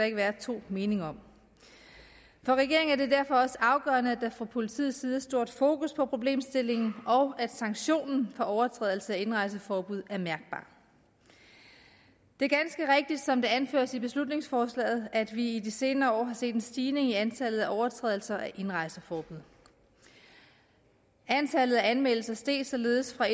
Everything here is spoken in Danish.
ikke være to meninger om for regeringen er det derfor også afgørende at der fra politiets side er stort fokus på problemstillingen og at sanktionen for overtrædelse af indrejseforbud er mærkbar det er ganske rigtigt som det anføres i beslutningsforslaget at vi i de senere år har set en stigning i antallet af overtrædelser af indrejseforbud antallet af anmeldelser steg således fra